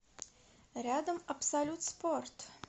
рядом абсолют спорт